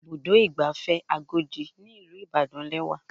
Ibùdó ìgbafẹ́ Agodi ní ìlú Ìbàdàn lẹ́wà.